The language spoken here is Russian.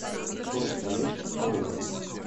курс валют калуга